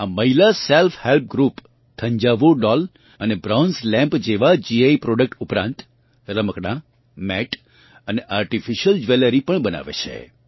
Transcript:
આ મહિલા self help group Thanjavur doll અને બ્રોન્ઝ લેમ્પ જેવાં જીઆઇ પ્રોડક્ટ ઉપરાંત રમકડાં મેટ અને આર્ટિફિશિયલ જ્વેલેરી પણ બનાવે છે